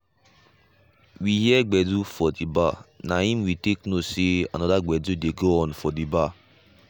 we hear gbedu from d bar na im we take know say another gbedu de go on der.